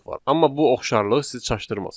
Amma bu oxşarlıq sizi çaşdırmasın.